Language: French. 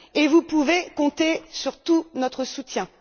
Vous pouvez compter sur tout notre soutien.